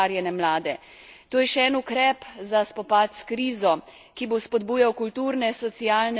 To je še en ukrep za spopad s krizo, ki bo spodbujal kulturne, socialne in druge vezi.